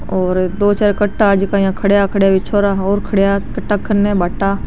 और दो चार कट्टा जका खडीया है कने दो चार छोरा और खडीया है --